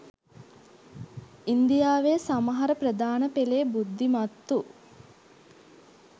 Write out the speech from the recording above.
ඉන්දියාවේ සමහර ප්‍රධාන පෙළේ බුද්ධිමත්තු